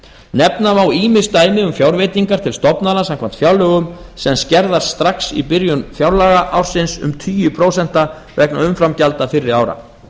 nefna má ýmis dæmi um fjárveitingar til stofnana samkvæmt fjárlögum sem skerðast strax í byrjun fjárlagaársins um tugi prósenta vegna umframgjalda fyrri ára